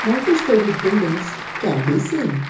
multi storeyed buildings can be seen.